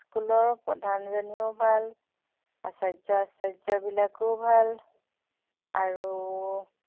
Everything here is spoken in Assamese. school প্ৰধান জনীও ভাল আচায্য়-আচায্য়া বিলাকো ভাল আৰু